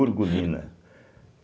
Urgulina.